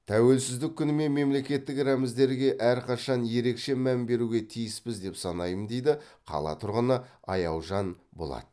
тәуелсіздік күні мен мемлекеттік рәміздерге әрқашан ерекше мән беруге тиіспіз деп санаймын дейді қала тұрғыны аяужан болат